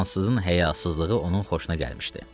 Fransızın həyasızlığı onun xoşuna gəlmişdi.